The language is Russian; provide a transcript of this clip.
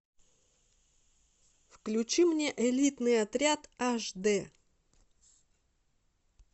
включи мне элитный отряд аш д